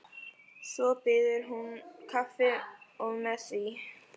Svo býður hún kaffi og með því.